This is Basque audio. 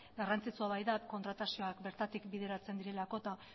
garrantzitsua baita kontratazioak bertatik bideratzen direlako eta